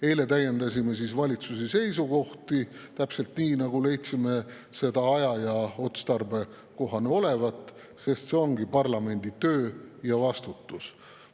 Eile täiendasime valitsuse seisukohti täpselt nii, nagu leidsime aja- ja otstarbekohane olevat, sest see ongi parlamendi töö ja vastutus.